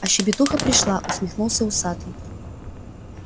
а щебетуха пришла усмехнулся усатый